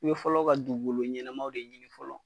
U be fɔlɔ ka dugukolo ɲɛnɛmaw de ɲini fɔlɔ.